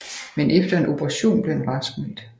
Men efter en operation blev han raskmeldt